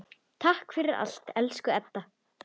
Takk fyrir allt, elsku Edda.